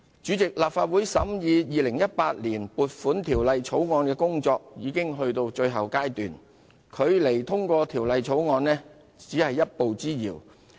主席，立法會審議《條例草案》的工作已到達最後階段，距離《條例草案》通過只是一步之遙。